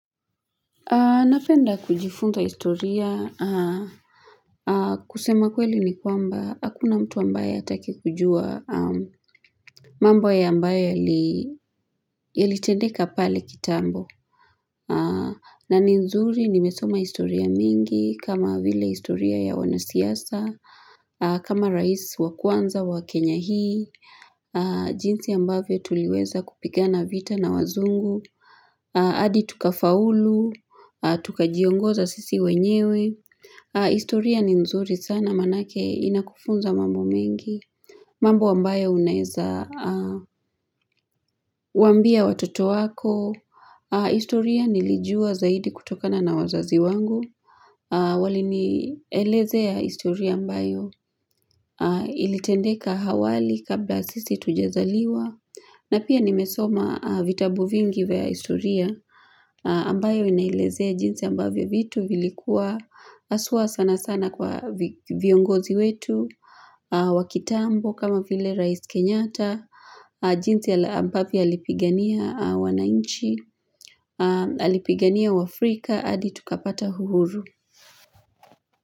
Napenda kujifunza istoria kusema kweli ni kwamba hakuna mtu ambaye ataki kujua mambo ya ambayo yalitendeka pale kitambo na ni nzuri nimesoma istoria mingi kama vile istoria ya wanasiasa kama rais wakwanza wa kenya hii jinsi ambavyo tuliweza kupigana vita na wazungu Adi tuka faulu, tuka jiongoza sisi wenyewe, historia ni nzuri sana manake inakufunza mambo mengi, mambo ambayo unaeza wambia watoto wako, historia nilijua zaidi kutokana na wazazi wangu, wali nielezea historia ambayo ilitendeka hawali kabla sisi hatujazaliwa, na pia nimesoma vitabu vingi vya historia ambayo inaelezea jinsi ambavyo vitu vilikuwa aswa sana sana kwa viongozi wetu, wakitambo kama vile rais kenyata, jinsi ambavyo alipigania wanainchi, alipigania wafrika, hadi tukapata uhuru.